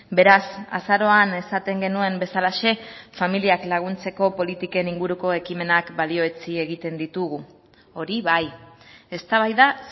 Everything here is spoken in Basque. beraz azaroan esaten genuen bezalaxe familiak laguntzeko politiken inguruko ekimenak balioetsi egiten ditugu hori bai eztabaida